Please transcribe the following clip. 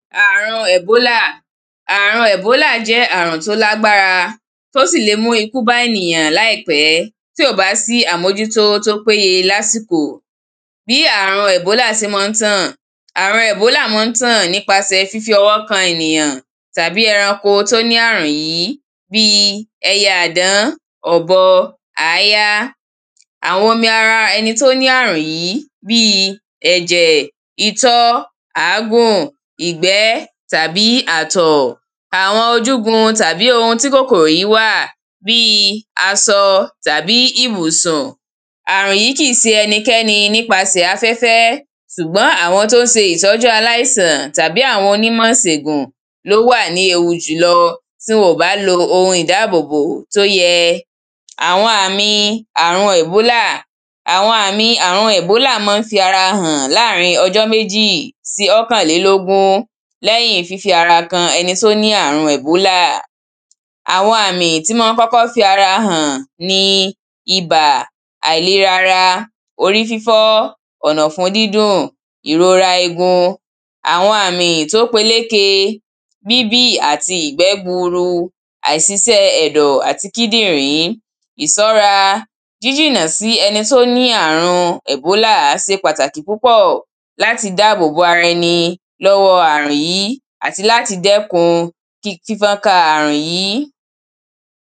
ààrun ẹ̀bólà - ààrun ẹ̀bólà jẹ́ ààrùn tó lágbára tó sì lè mú ikú bá ènìyàn láìpẹ́ tí ò bá sí àmójútó tó péye lásìkò. bí àrùn ẹ̀bólà ṣe má ń tàn, ààrun ẹ̀bólà ma ń tàn nípa sẹ fífi ọwọ́ kan ènìyàn tàbí ẹranko tó ní àrùn yìí bíi ẹyẹ àdán, ọ̀bọ, àáyá, àwọn omi ara ẹni tó ní ààrùn yìí bíi ẹ̀jẹ̀, itọ́, àágùn, ìgbẹ́ tàbí ààtọ̀ àwọn ojúgun tàbí oun tí kòkòrò yíì wà bíi aṣọ tàbí ìbùsùn. ààrùn yìí kìí ṣe ẹnikẹ́ni nípasẹ̀ afẹ́fẹ́ ṣùgbọ́n àwọn tọ́ ń ṣe ìtọ́jú aláìsàn tàbí àwọn onímọ̀ ìṣègùn ló wà ní ewu jùlọ tí wọ́n bá lo oun ìdábòbò tó yẹ àwọn àmì àrun ẹ̀bólà, àwọn àmì àrun ẹ̀bólà ma ń fi ara hàn láàrín in ọjọ́ méjì sí ókànlélógún, lẹ́yin fífi ara kan ẹni tó ní àrùn ẹ̀bólà àwọn àmì tí ma ń kọ́kọ́ fi ara hàn ni ibà, àìlera ara, orí fífọ́, ọ̀nàfun dídùn, ìrora egun. àwọn àmì tó peléke, bíbì àti ìgbẹ́ gburu, àìṣiṣẹ́ ẹ̀dọ̀ àti kídìrí, ìṣọ́ra - jíjìnà sí ẹni tó ní ààrùn ẹ̀bólà ṣe pàtàkì púpọ̀ láti dáàbò bo ara ẹni lọ́wọ ààrùn yìí àti láti dẹ́kun fífọ́nka ààrùn yìí.